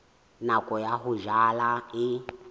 nako ya ho jala e